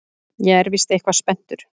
Ég er víst eitthvað spenntur.